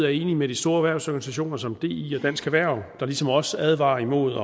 er enig med de store erhvervsorganisationer som di dansk erhverv der ligesom os advarer imod